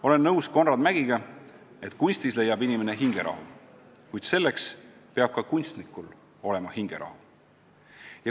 Olen nõus Konrad Mägiga, et kunstis leiab inimene hingerahu, kuid selleks peab ka kunstnikul olema hingerahu.